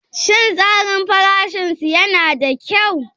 Shin tsarin farashin su yana da kyau?